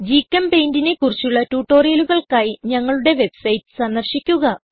GChemPaintനെ കുറിച്ചുള്ള ട്യൂട്ടോറിയലുകൾക്കായി ഞങ്ങളുടെ വെബ്സൈറ്റ് സന്ദർശിക്കുക